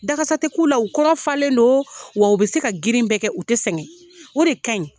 Dakasa tɛ k'u la , u kɔnɔ falen don wa u be se ka girin bɛɛ kɛ u tɛ sɛngɛ. O de ka ɲi.